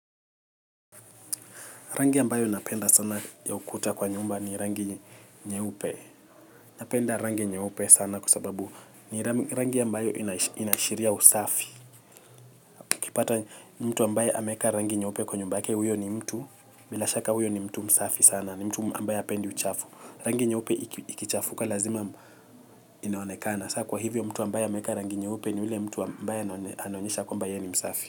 Rangi ambayo napenda sana ya ukuta kwa nyumba ni rangi nyeupe. Napenda rangi nyeupe sana kwa sababu ni rangi ambayo inaashiria usafi. ukipata mtu ambaye ameeka rangi nyeupe kwa nyumba yake huyo ni mtu. Bila shaka huyo ni mtu msafi sana ni mtu ambaye hapendi uchafu. Rangi nyeupe ikichafuka lazima inaonekana. Kwa hivyo mtu ambayo ameeka rangi nyeupe ni ule mtu ambaye anaonyesha kwamba ye ni msafi.